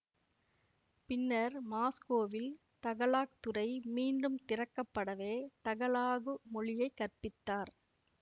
பின்னர் மாஸ்கோவில் தகலாக் துறை மீண்டும் திறக்கப்படவே தகலாகு மொழியை கற்பித்தார்